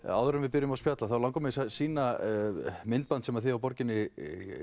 áður en við byrjum að spjalla langar mig að sýna myndband sem þið hjá borginni